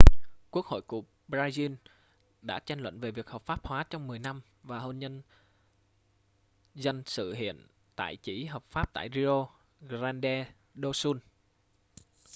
quốc hội của brazil đã tranh luận về việc hợp pháp hóa trong 10 năm và hôn nhân dân sự hiện tại chỉ hợp pháp tại rio grande do sul